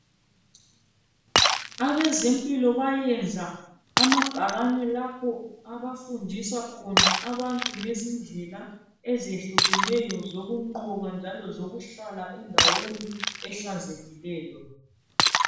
Abezempilo bayenza amabhakane lapho abafundisa khona abantu ngezindlela ezehlukeneyo zokunqoba njalo zokuhlala endaweni ehlanzekileyo.